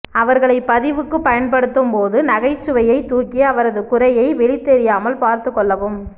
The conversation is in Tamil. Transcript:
அவர்களை பதிவுக்கு பயன்படுத்தும் போது நகைச்சுவையை தூக்கி அவரது குறையை வெளிதெரியாமல் பார்த்து கொள்ளவும்